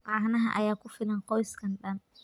Caanaha ayaa ku filan qoyskan daan.